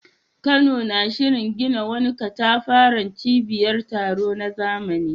Kano na shirin gina wani katafaren cibiyar taro na zamani.